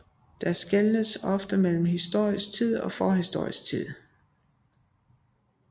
Der skelnes ofte mellem historisk tid og forhistorisk tid